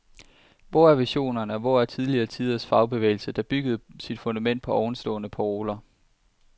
Hvor er visionerne og hvor er tidligere tiders fagbevægelse, der byggede sit fundament på ovenstående paroler?